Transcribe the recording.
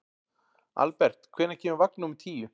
Albert, hvenær kemur vagn númer tíu?